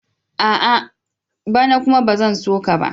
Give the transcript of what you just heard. A'a! Bana kuma ba zan so ka ba.